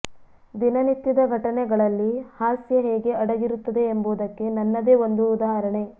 ದಿನ ನಿತ್ಯದ ಘಟನೆಗಳಲ್ಲಿ ಹಾಸ್ಯ ಹೇಗೆ ಅಡಗಿರುತ್ತದೆ ಎಂಬುದಕ್ಕೆ ನನ್ನದೇ ಒಂದು ಉದಾಹರಣೆ